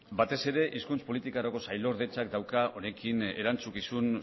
batez ere hizkuntz politikarako sailordetzak dauka honekin erantzukizun